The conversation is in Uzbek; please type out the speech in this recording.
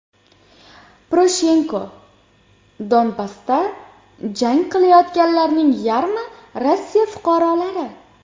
Poroshenko: Donbassda jang qilayotganlarning yarmi Rossiya fuqarolari.